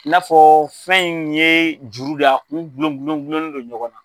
I n'a fɔ fɛn in ye juru de y'a a kun gulon gulon gulonlen dɔ ɲɔgɔn na.